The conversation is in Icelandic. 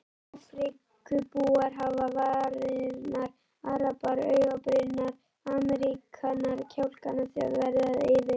Afríkubúar hafa varirnar, arabar augabrýrnar, Ameríkanar kjálkana, Þjóðverjar yfir